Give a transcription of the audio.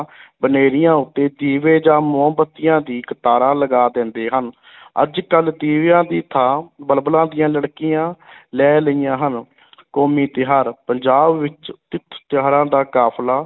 ਬਨੇਰਿਆਂ ਉੱਤੇ ਦੀਵੇ ਜਾਂ ਮੋਮਬੱਤੀਆਂ ਦੀ ਕਤਾਰਾਂ ਲਗਾ ਦੇਂਦੇ ਹਨ ਅੱਜ ਕੱਲ੍ਹ ਦੀਵਿਆਂ ਦੀ ਥਾਂ ਬਲਬਲਾਂ ਦੀਆਂ ਲੜਕੀਆਂ ਲੈ ਲਈਆਂ ਹਨ ਕੌਮੀ ਤਿਉਹਾਰ ਪੰਜਾਬ ਵਿੱਚ ਤਿੱਥ ਤਿਉਹਾਰਾਂ ਦਾ ਕਾਫ਼ਲਾ